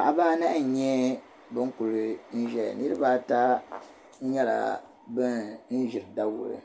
Paɣaba anahi n-nyɛ ban kuli n-zaya niriba ata nyɛla ban ʒe daguli